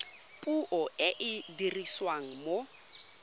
puo e e dirisiwang mo